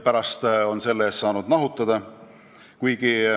Pärast on ta saanud selle eest nahutada.